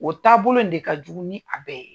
O taabolo in de ka jugu ni a bɛɛ ye.